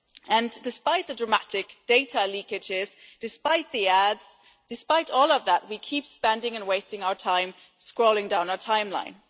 And despite the dramatic data leakages, despite the ads, despite all of that, we keep spending and wasting our time scrolling down our timeline.